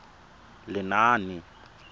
lenaane